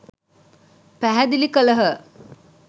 පැහැදිලි කළහ.